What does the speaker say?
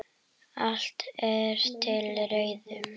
Allt er til reiðu.